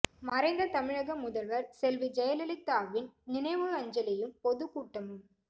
மறைந்த தமிழக முதல்வர் செல்வி ஜெயலலிதாவின் நினைவஞ்சலியும் பொதுக் கூட்டமும்